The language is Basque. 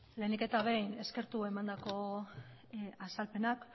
lehenik eta behin eskertu emandako azalpenak